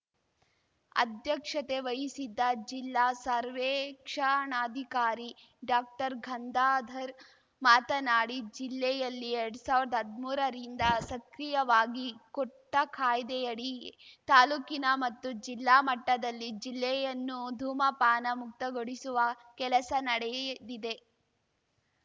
ಅಧ್ಯಕ್ಷತೆ ವಹಿಸಿದ್ದ ಜಿಲ್ಲಾ ಸರ್ವೇಕ್ಷಣಾಧಿಕಾರಿ ಡಾಕ್ಟರ್ಗಂದಾಧರ್‌ ಮಾತನಾಡಿ ಜಿಲ್ಲೆಯಲ್ಲಿ ಎರಡ್ ಸಾವಿರ್ದಾ ಹದ್ಮೂರರಿಂದ ಸಕ್ರಿಯವಾಗಿ ಕೋಟ್ಟಾಕಾಯ್ದೆಯಡಿ ತಾಲೂಕಿನ ಮತ್ತು ಜಿಲ್ಲಾ ಮಟ್ಟದಲ್ಲಿ ಜಿಲ್ಲೆಯನ್ನು ಧೂಮಪಾನ ಮುಕ್ತಗೊಳಿಸುವ ಕೆಲಸ ನಡೆಯ್ದಿದೆ